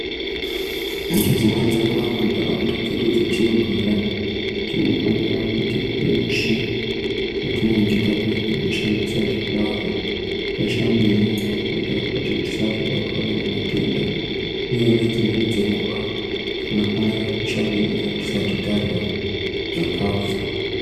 Nedzimweni dzenguva muntaraunda dzedu dzatinogara tinofanira kuti pese patinenge tapedza kushandisa zvilava tino kushamba nyarakuitira kuitire kuti tisabatwa nematenda uye nedzimweni dzenguva tinofanirwa kushamba nyara tisati tarya zvikafu.